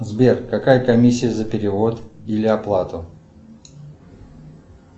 сбер какая комиссия за перевод или оплату